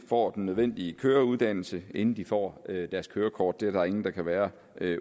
får den nødvendige køreuddannelse inden de får deres kørekort det er der ingen der kan være